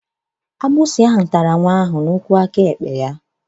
Ndanda tara nwa ahụ n'ụkwụ aka ekpe ya.